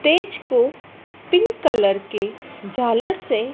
stage को pink colour के झालर से--